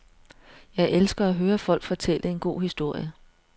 Jeg elsker at høre folk fortælle en god historie.